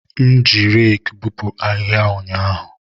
M ji reekị bupu ahihia ụnyaahụ.